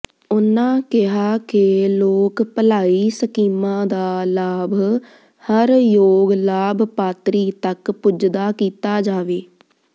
ਉਨ੍ਹਾਂ ਕਿਹਾ ਕੇ ਲੋਕ ਭਲਾਈ ਸਕੀਮਾਂ ਦਾ ਲਾਭ ਹਰ ਯੋਗ ਲਾਭਪਾਤਰੀ ਤੱਕ ਪੁੱਜਦਾ ਕੀਤਾ ਜਾਵੇ